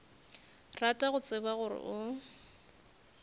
rata go tseba gore o